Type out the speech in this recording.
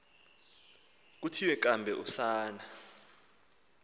kuthiwa kambe usana